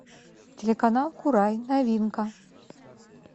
телеканал курай новинка